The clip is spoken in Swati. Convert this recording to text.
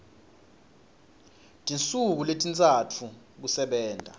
tinsuku letintsatfu kusebenta